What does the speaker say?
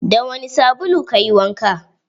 Da wani sabulu kayi wanka?